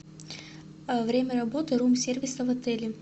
время работы рум сервиса в отеле